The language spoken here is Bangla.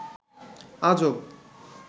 আজব